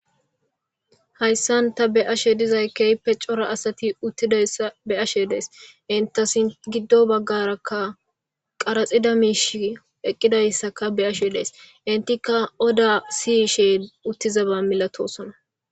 Hayssan ta beashe dizay keype cora asati uttidayssa be'ashe dees intasin giddo baggarakka qaraxida miishi eqqidayssaka beashe dees intika oda siyiishee uttizaba milatosona.